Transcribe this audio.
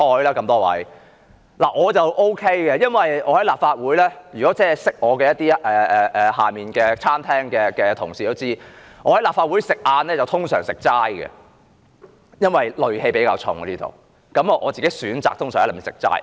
我個人可以這樣，認識我的、在大樓地下餐廳工作的同事也知道，我的午餐一般是齋菜，因為立法會戾氣比較重，我個人通常選擇吃齋菜。